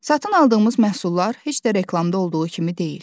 Satın aldığımız məhsullar heç də reklamda olduğu kimi deyil.